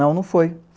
Não, não foi.